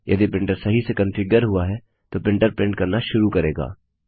यदि प्रिंटर सही से कन्फिग्यर हुआ है तो प्रिंटर प्रिंट करना शुरू करेगा